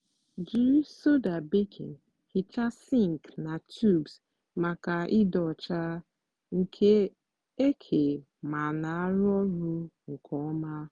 jiri soda baking hichaa sink na tubs maka ịdị ọcha nke eke ma na-arụ ọrụ nke ọma.